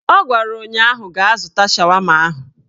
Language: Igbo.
Ọ gwara ụnyaahụ "Gaa zụta shawama ahụ"